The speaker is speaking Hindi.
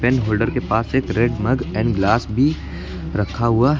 इन होल्डर के पास एक रेड मग एंड ग्लास भी रखा हुआ--